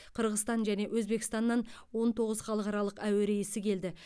қырғызстан және өзбекстаннан он тоғыз халықаралық әуе рейсі келді